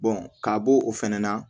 ka b'o o fɛnɛ na